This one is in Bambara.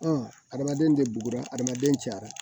adamaden tɛ bugura hadamaden cayara